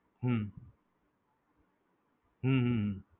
હમ હમ